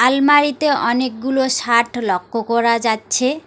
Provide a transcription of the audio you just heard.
আলমারিতে অনেকগুলো শার্ট লক্ষ করা যাচ্ছে।